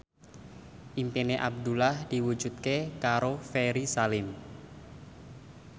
impine Abdullah diwujudke karo Ferry Salim